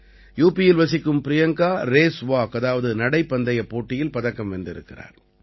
யுபியில் வசிக்கும் Priyanka race walk அதாவது நடைப்பந்தயப் போட்டியில் பதக்கம் வென்றிருக்கிறார்